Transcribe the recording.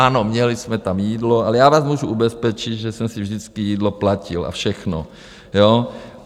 Ano, měli jsme tam jídlo, ale já vás můžu ubezpečit, že jsem si vždycky jídlo platil, a všechno, jo?